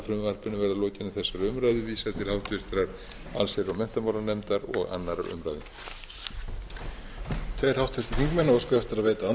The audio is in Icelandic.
að frumvarpinu verði að lokinni þessari umræðu vísað til háttvirtrar allsherjar og menntamálanefndar og annarrar umræðu